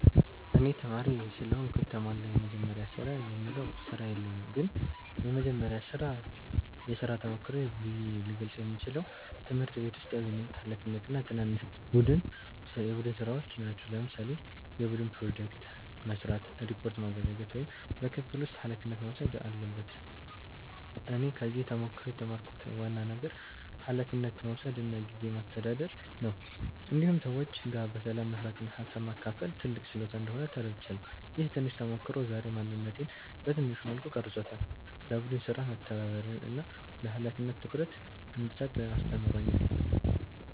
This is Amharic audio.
እኔ ተማሪ ስለሆንኩ የተሟላ “የመጀመሪያ ስራ”የምለው ስራ የለኝም ግን የመጀመሪያ የሥራ ተሞክሮዬ ብዬ ልገልጸው የምችለው ትምህርት ቤት ውስጥ ያገኘሁት ኃላፊነት እና ትናንሽ የቡድን ሥራዎች ናቸው። ለምሳሌ የቡድን ፕሮጀክት መስራት፣ ሪፖርት ማዘጋጀት ወይም በክፍል ውስጥ ኃላፊነት መውሰድ አለበት እኔ ከዚህ ተሞክሮ የተማርኩት ዋና ነገር ኃላፊነት መውሰድ እና ጊዜ ማስተዳደር ነው። እንዲሁም ሰዎች ጋር በሰላም መስራት እና ሀሳብ ማካፈል ትልቅ ችሎታ እንደሆነ ተረድቻለሁ። ይህ ትንሽ ተሞክሮ ዛሬ ማንነቴን በትንሹ መልኩ ቀርጾታል፤ ለቡድን ሥራ መተባበርን እና ለኃላፊነት ትኩረት እንድሰጥ አስተምሮኛል።